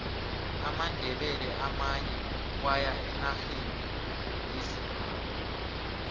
amandebele amanye waya enarheni yezimbabwe